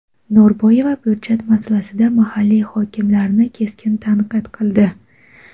Norboyeva byudjet masalasida mahalliy hokimliklarni keskin tanqid qildi.